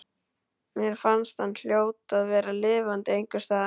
Mér fannst hann hljóta að vera lifandi einhvers staðar.